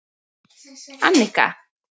Annika